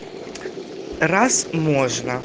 раз можно